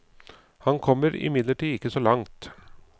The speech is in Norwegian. Han kom imidlertid ikke så langt.